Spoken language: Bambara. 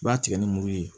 I b'a tigɛ ni muru ye